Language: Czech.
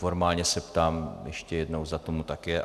Formálně se ptám ještě jednou, zda tomu tak je.